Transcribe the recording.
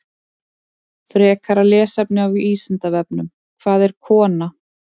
Frekara lesefni á Vísindavefnum: Hvað er kona?